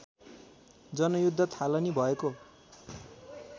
जनयुद्ध थालनी भएको